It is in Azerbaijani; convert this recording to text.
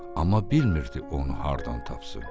Amma bilmirdi onu hardan tapsın.